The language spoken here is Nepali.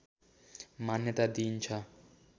मान्यता दिइन्छ